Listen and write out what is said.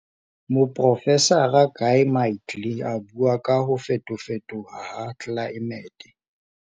Moprofesara Guy Midgely a bua ka 'Ho fetofetoha ha tlelaemete'.